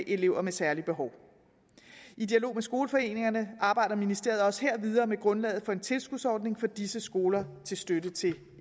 elever med særlige behov i dialog med skoleforeningerne arbejder ministeriet også her videre med grundlaget for en tilskudsordning for disse skoler til støtte til